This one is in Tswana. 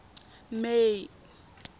may